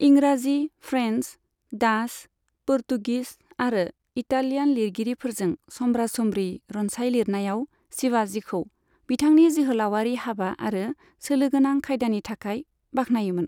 इंराजि, French, Dutch, पुर्तगिस आरो इतालियान लिरगिरिफोरजों समब्रा समब्रि रनसाइ लिरनायाव शिवाजिखौ बिथांनि जोहोलावारि हाबा आरो सोलोगोनां खायदानि थाखाय बाखनायोमोन।